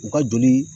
U ka joli